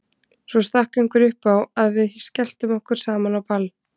Svo stakk einhver upp á að við skelltum okkur saman á ball.